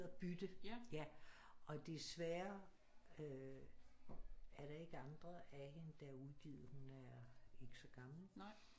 Den hedder Bytte ja og desværre øh er der ikke andre af hende der er udgivet hun er ikke så gammel